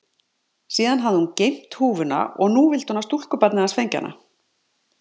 Síðan hafði hún geymt húfuna og nú vildi hún að stúlkubarnið hans fengi hana.